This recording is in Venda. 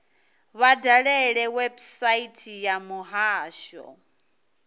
vha dalele website ya muhasho